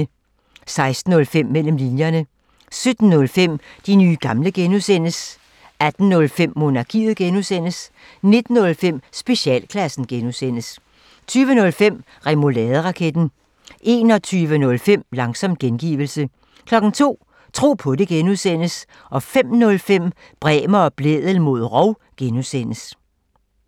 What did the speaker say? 16:05: Mellem linjerne 17:05: De nye gamle (G) 18:05: Monarkiet (G) 19:05: Specialklassen (G) 20:05: Remouladeraketten 21:05: Langsom gengivelse 02:00: Tro på det (G) 05:05: Bremer og Blædel mod rov (G)